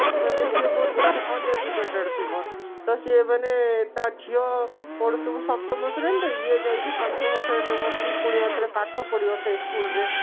ମାନେ ସିଏ ବହୁତ ମାନେ uneducated ଥିବ ତ ସିଏ ମାନେ ତା ଝିଅ ପଢୁଥିବ ସପ୍ତମ ଶ୍ରେଣୀ ରେ ଇଏ ଯାଇକି ପଞ୍ଚମ ଶ୍ରେଣୀ ରେ ବସିକି ପୁଣି ଆଉଥରେ ପାଠ ପଢିବ ସେଇ school ରେ